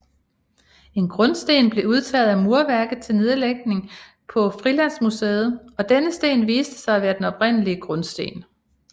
En grundsten blev udtaget af murværket til nedlægning på Frilandsmuseet og denne sten viste sig at være den oprindelige grundsten